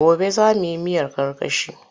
Gobe za mu yi miyar karkashi.